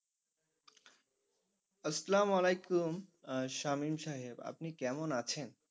আসসালামালাইকুম আহ সামীম সাহেব আপনি কেমন আছেন?